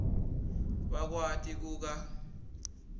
bakwati ku kwa